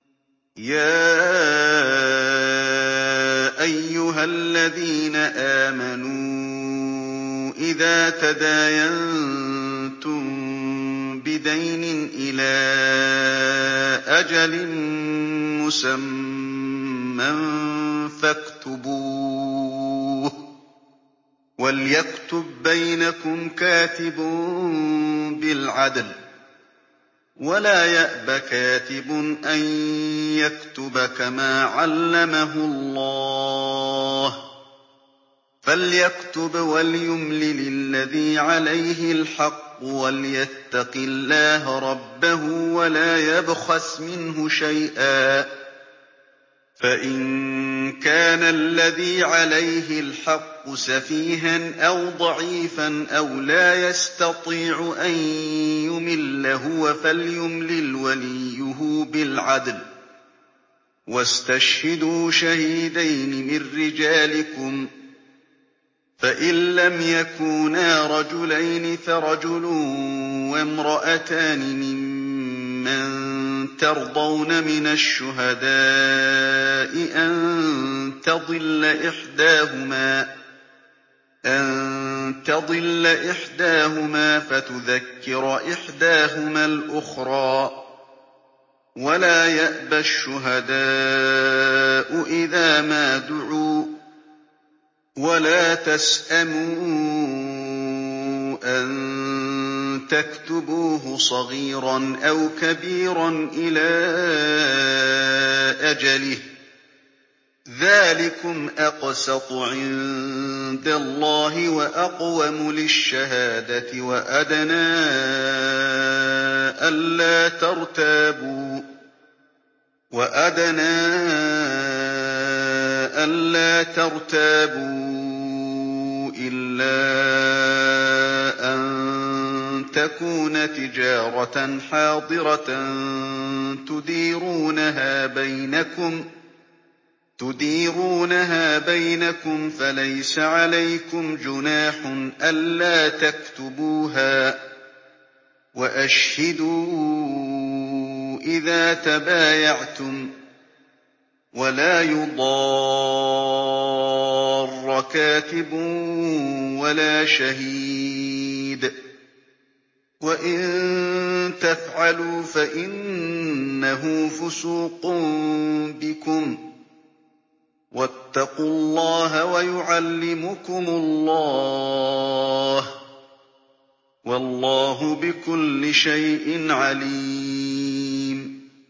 يَا أَيُّهَا الَّذِينَ آمَنُوا إِذَا تَدَايَنتُم بِدَيْنٍ إِلَىٰ أَجَلٍ مُّسَمًّى فَاكْتُبُوهُ ۚ وَلْيَكْتُب بَّيْنَكُمْ كَاتِبٌ بِالْعَدْلِ ۚ وَلَا يَأْبَ كَاتِبٌ أَن يَكْتُبَ كَمَا عَلَّمَهُ اللَّهُ ۚ فَلْيَكْتُبْ وَلْيُمْلِلِ الَّذِي عَلَيْهِ الْحَقُّ وَلْيَتَّقِ اللَّهَ رَبَّهُ وَلَا يَبْخَسْ مِنْهُ شَيْئًا ۚ فَإِن كَانَ الَّذِي عَلَيْهِ الْحَقُّ سَفِيهًا أَوْ ضَعِيفًا أَوْ لَا يَسْتَطِيعُ أَن يُمِلَّ هُوَ فَلْيُمْلِلْ وَلِيُّهُ بِالْعَدْلِ ۚ وَاسْتَشْهِدُوا شَهِيدَيْنِ مِن رِّجَالِكُمْ ۖ فَإِن لَّمْ يَكُونَا رَجُلَيْنِ فَرَجُلٌ وَامْرَأَتَانِ مِمَّن تَرْضَوْنَ مِنَ الشُّهَدَاءِ أَن تَضِلَّ إِحْدَاهُمَا فَتُذَكِّرَ إِحْدَاهُمَا الْأُخْرَىٰ ۚ وَلَا يَأْبَ الشُّهَدَاءُ إِذَا مَا دُعُوا ۚ وَلَا تَسْأَمُوا أَن تَكْتُبُوهُ صَغِيرًا أَوْ كَبِيرًا إِلَىٰ أَجَلِهِ ۚ ذَٰلِكُمْ أَقْسَطُ عِندَ اللَّهِ وَأَقْوَمُ لِلشَّهَادَةِ وَأَدْنَىٰ أَلَّا تَرْتَابُوا ۖ إِلَّا أَن تَكُونَ تِجَارَةً حَاضِرَةً تُدِيرُونَهَا بَيْنَكُمْ فَلَيْسَ عَلَيْكُمْ جُنَاحٌ أَلَّا تَكْتُبُوهَا ۗ وَأَشْهِدُوا إِذَا تَبَايَعْتُمْ ۚ وَلَا يُضَارَّ كَاتِبٌ وَلَا شَهِيدٌ ۚ وَإِن تَفْعَلُوا فَإِنَّهُ فُسُوقٌ بِكُمْ ۗ وَاتَّقُوا اللَّهَ ۖ وَيُعَلِّمُكُمُ اللَّهُ ۗ وَاللَّهُ بِكُلِّ شَيْءٍ عَلِيمٌ